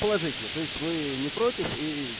положительно то есть вы не против и